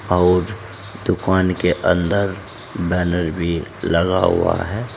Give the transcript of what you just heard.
और दुकान के अंदर बैनर भी लगा हुआ है।